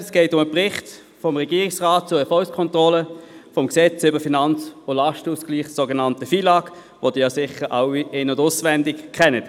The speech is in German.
Es geht um den Bericht des Regierungsrats zur Erfolgskontrolle des Gesetzes über den Finanz- und Lastenausgleich (FILAG), welches Sie sicher in- und auswendig kennen.